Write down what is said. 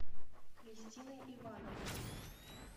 кристиной ивановной